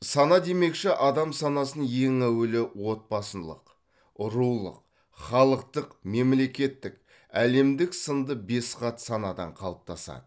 сана демекші адам санасын ең әуелі отбасындық рулық халықтық мемлекеттік әлемдік сынды бес қат санадан қалыптасады